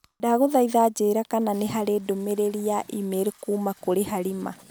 Ndagũthaitha njĩĩra kana nĩ harĩ ndũmĩrĩri ya e-mail kuuma kũrĩ Halima.